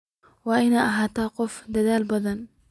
Waad ina ahatahy qof aad udadhal badhan.